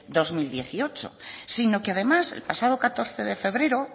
dos mil dieciocho sino que además el pasado catorce de febrero